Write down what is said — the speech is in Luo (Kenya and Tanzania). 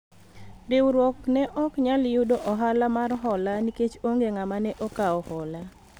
riwruok ne ok nyal yudo ohala mar hola nikech onge ng'ama ne okawo hola